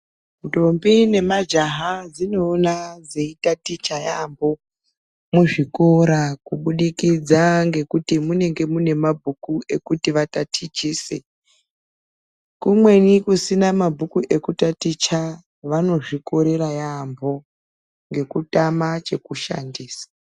Ntombi nemajaha dzinoona dzeyitaticha yaambo muzvikora kubudikidza ngekuti munenge mune mabhuku ekuti vatatichise kumweni kusina mabhuku ekutatichisa vanozvikorera yaambo ngekutama chekushandisa.